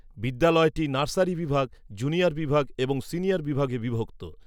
বিদ্যালয়টি নার্সারি বিভাগ, জুনিয়র বিভাগ এবং সিনিয়র বিভাগে বিভক্ত।